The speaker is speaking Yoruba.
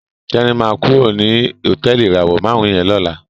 Teni ma kúrò ní Hotẹẹli ìràwọ márùn yén ló là.